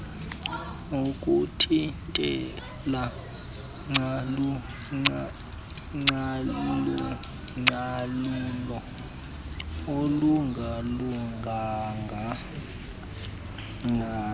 nokuthintela ucalucalulo olungalunganga